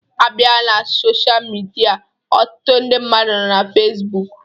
A bịa na sosha midia, ọtụtụ ndị mmadụ nọ na Fesbụụk